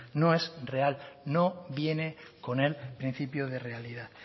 no es real no viene con el principio de realidad